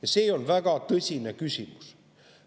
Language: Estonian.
Ja see on väga tõsine küsimus.